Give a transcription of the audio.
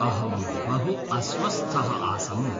अहं बहु अस्वस्थः आसम्।